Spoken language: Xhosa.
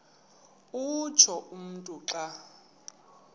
utsho umntu xa